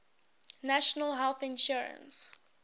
national health insurance